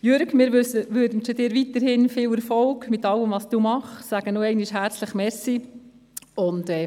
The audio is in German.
Jürg Iseli, wir wünschen Ihnen weiterhin viel Erfolg in allem, was Sie tun, und sagen nochmals herzlichen Dank.